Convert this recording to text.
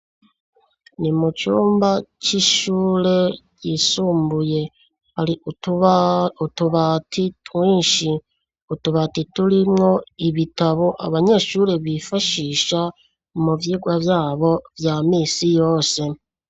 Ni mu cumba c'ishure yisumbuye, hari utubati twinshi, utubati turimwo ibitabo abanyeshuri bifashisha mu vyigwa vyabo vya misi yose.